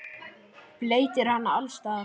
Bleytir hana alls staðar.